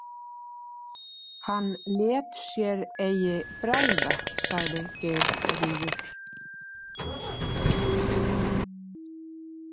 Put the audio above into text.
Hann lét sér eigi bregða, sagði Geirríður.